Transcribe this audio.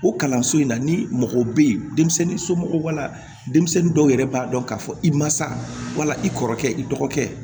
O kalanso in na ni mɔgɔw bɛ yen denmisɛnnin somɔgɔ wa denmisɛnnin dɔw yɛrɛ b'a dɔn k'a fɔ i ma sa wala i kɔrɔ kɛ i dɔgɔkɛ